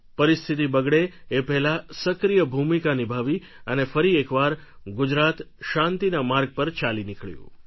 પરિસ્થિતિ બગડે એ પહેલા સક્રિય ભૂમિકા નિભાવી અને ફરી એકવાર ગુજરાત શાંતિના માર્ગ પર ચાલી નીકળ્યું